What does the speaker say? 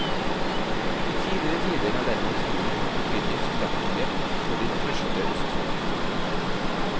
I tidligere tider har derimot fuglen hatt betydning som jaktobjekt for de første østfoldinger.